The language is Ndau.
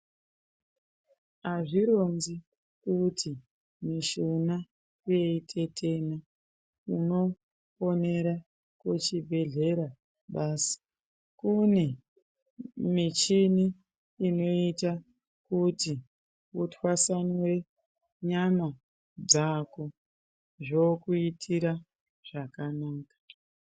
Azvironzi kuti mishuna yeitetena unofonera kuchibhehleya basi kune mishini inoita kuti utwasanure nyama dzako zvokuitira zvakanaka.